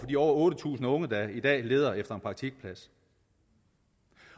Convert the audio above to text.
de over otte tusind unge der i dag leder efter en praktikplads